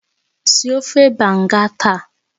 Sie ofe Banga taa!